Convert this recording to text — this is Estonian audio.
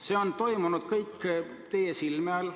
See on toimunud kõik teie silme all.